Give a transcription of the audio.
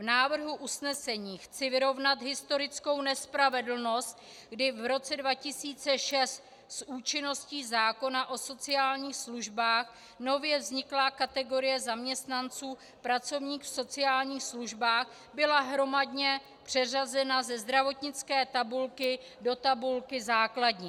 V návrhu usnesení chci vyrovnat historickou nespravedlnost, kdy v roce 2006 s účinností zákona o sociálních službách nově vzniklá kategorie zaměstnanců "pracovník v sociálních službách" byla hromadně přeřazena ze zdravotnické tabulky do tabulky základní.